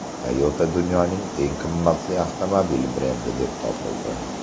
Toyota dunyoning eng qimmat avtomobil brendi deb topildi.